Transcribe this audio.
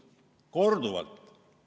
Ja nii on olnud korduvalt.